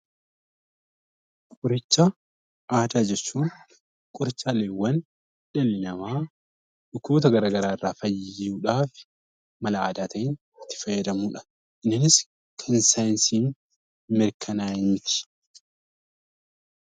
Qoricha aadaa jechuun qorichaaleewwan dhalli namaa dhukkuboota garaagaraa irraa fayyuudhaaf mala aadaa ta'een itti fayyadamudha. Innis kan saayinsiin mirkanaa'e miti.